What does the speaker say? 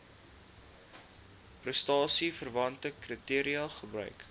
prestasieverwante kriteria gebruik